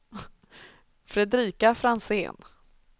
Fredrika Franzén